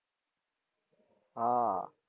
હાં.